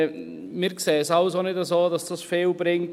Wir sehen es also nicht so, dass das viel bringt.